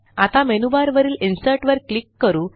आता मेनूबारवरील Insertवर क्लिक करू